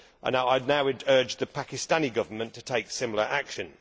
I now urge the Pakistani Government to take similar action.